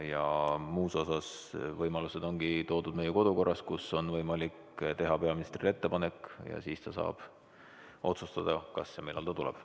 Ja muus osas on võimalused toodud meie kodukorras, mille järgi on võimalik teha peaministrile ettepanek ja siis ta saab otsustada, kas ja millal ta tuleb.